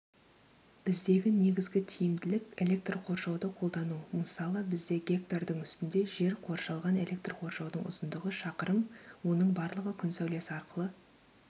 біздегі негізгі тиімділік электр қоршауды қолдану мысалы бізде гектардың үстінде жер қоршалған электр қоршаудың ұзындығы шақырым оның барлығы күн сәулесі арқылы